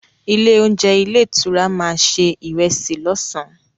Ilé-oúnjẹ ilé-ìtura máa se ìrẹsì lọ́sàn-án.